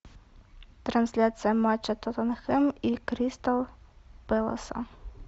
трансляция матча тоттенхэм и кристал пэласа